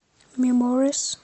меморис